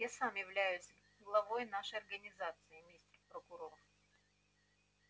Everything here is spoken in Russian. я сам являюсь главой нашей организации мистер прокурор